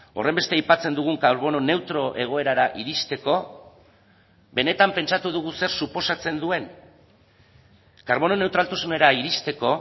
horrenbeste aipatzen dugun karbono neutro egoerara iristeko benetan pentsatu dugu zer suposatzen duen karbono neutraltasunera iristeko